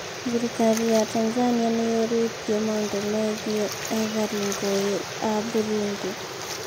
Thirikari ya Tanzania nĩyũrĩtio maũndũ megiĩ ethari ngũĩ a Burundi